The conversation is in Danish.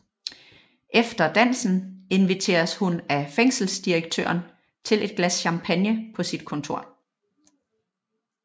Efter dansen inviteres hun af fængselsdirektøren til et glas champagne på sit kontor